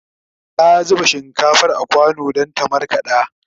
ta zuba shinkafar a kwano Dan ta markaɗa